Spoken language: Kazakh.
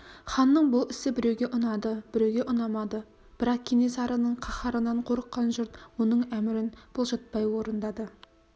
ханның бұл ісі біреуге ұнады біреуге ұнамады бірақ кенесарының қаһарынан қорыққан жұрт оның әмірін бұлжытпай орындады